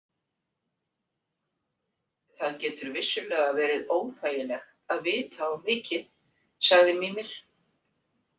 Það getur vissulega verið óþægilegt að vita of mikið, sagði Mímir.